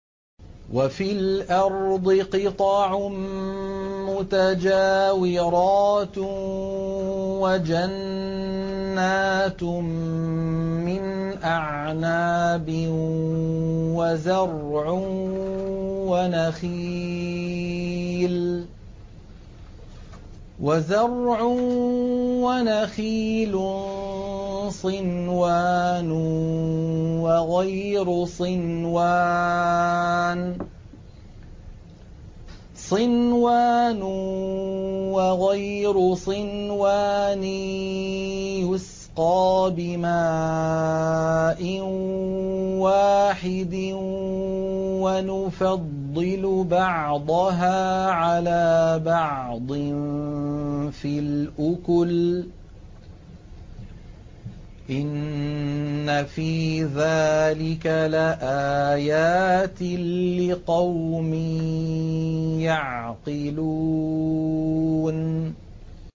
وَفِي الْأَرْضِ قِطَعٌ مُّتَجَاوِرَاتٌ وَجَنَّاتٌ مِّنْ أَعْنَابٍ وَزَرْعٌ وَنَخِيلٌ صِنْوَانٌ وَغَيْرُ صِنْوَانٍ يُسْقَىٰ بِمَاءٍ وَاحِدٍ وَنُفَضِّلُ بَعْضَهَا عَلَىٰ بَعْضٍ فِي الْأُكُلِ ۚ إِنَّ فِي ذَٰلِكَ لَآيَاتٍ لِّقَوْمٍ يَعْقِلُونَ